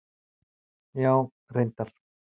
Já, reyndar.